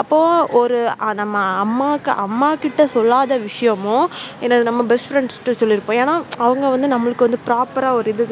அப்போ ஒரு நம்ம அம்மாக்கு அம்மா கிட்ட சொல்லாத விஷயமும் எனது நம்ம best friends கிட்ட சொல்லி இருப்போம். ஏன்னா, அவங்க வந்து நம்மளுக்கு proper ரா ஒரு இது